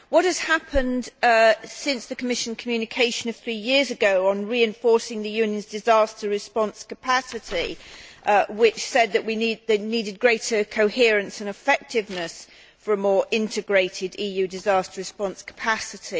What has happened since the Commission communication of three years ago on reinforcing the Union's disaster response capacity, which said that we needed greater coherence and effectiveness for a more integrated EU disaster response capacity?